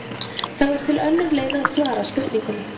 Þá er til önnur leið að svara spurningunni.